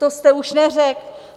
To jste už neřekl.